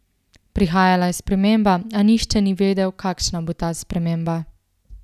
Prihajala je sprememba, a nihče ni vedel, kakšna bo ta sprememba.